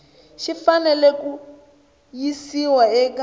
xi fanele ku yisiwa eka